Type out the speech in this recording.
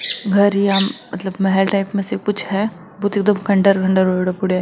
घर या मतलब महल टाइप में से कुछ है बहुत एकदम खण्डर खण्डर होये पड़यो है।